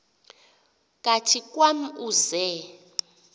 kathi kwam uze